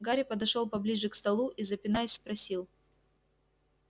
гарри подошёл поближе к столу и запинаясь спросил